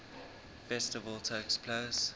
festival takes place